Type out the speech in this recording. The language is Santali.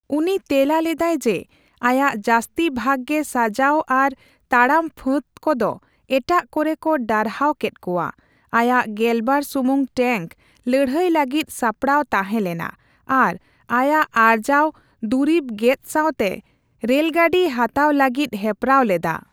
ᱩᱱᱤ ᱛᱮᱞᱟ ᱞᱮᱫᱟᱭ ᱡᱮ, ᱟᱭᱟᱜ ᱡᱟᱹᱥᱛᱤ ᱵᱷᱟᱜ ᱜᱮ ᱥᱟᱸᱡᱟᱣ ᱟᱨ ᱛᱟᱲᱟᱢ ᱯᱷᱟᱹᱫᱽ ᱠᱚᱫᱚ ᱮᱴᱟᱜ ᱠᱚᱨᱮᱠᱚ ᱰᱟᱨᱦᱟᱣ ᱠᱮᱫ ᱠᱚᱣᱟ ; ᱟᱭᱟᱜ ᱜᱮᱞᱵᱟᱨ ᱥᱩᱢᱩᱝ ᱴᱮᱝᱠ ᱞᱟᱹᱲᱦᱟᱹᱭ ᱞᱟᱹᱜᱤᱫ ᱥᱟᱯᱲᱟᱣ ᱛᱟᱸᱦᱮ ᱞᱮᱱᱟ ᱟᱨ ᱟᱭᱟᱜ ᱟᱨᱡᱟᱣ ᱫᱩᱨᱤᱵ ᱜᱮᱛ ᱥᱟᱸᱣᱛᱮ ᱨᱮᱞᱜᱟᱹᱰᱤ ᱦᱟᱛᱟᱣ ᱞᱟᱹᱜᱤᱫ ᱦᱮᱯᱨᱟᱣ ᱞᱮᱫᱟ ᱾